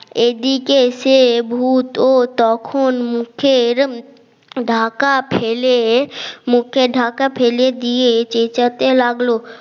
এদিকে সে ভূত ও তখন মুখের ঢাকা ফেলে মুখে ঢাকা ফেলে দিয়ে চেচাতে লাগলো